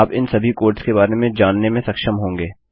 आप इन सभी कोड़्स के बारे में जानने में सक्षम होंगे